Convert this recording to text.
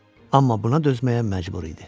Amma buna dözməyə məcbur idi.